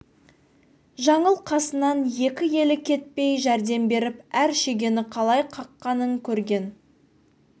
жаңыл қасынан екі елі кетпей жәрдем беріп әр шегені қалай қаққанын көрген